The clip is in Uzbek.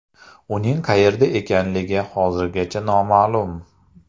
Uning qayerda ekanligi hozirgacha noma’lum.